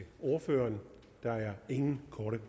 ordføreren der er ingen korte